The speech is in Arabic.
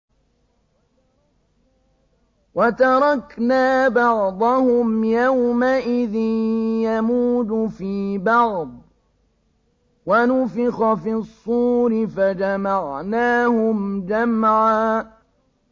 ۞ وَتَرَكْنَا بَعْضَهُمْ يَوْمَئِذٍ يَمُوجُ فِي بَعْضٍ ۖ وَنُفِخَ فِي الصُّورِ فَجَمَعْنَاهُمْ جَمْعًا